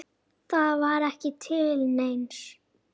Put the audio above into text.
Það var ekki til neins.